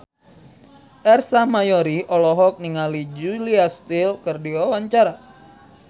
Ersa Mayori olohok ningali Julia Stiles keur diwawancara